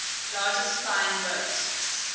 largest flying boat